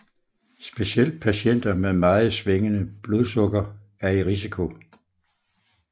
Specielt patienter med meget svingende blodsukker er i risiko